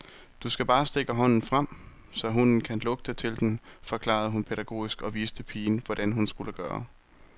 Du skal bare stikke hånden frem, så hunden kan lugte til den, forklarede hun pædagogisk og viste pigen, hvordan hun skulle gøre.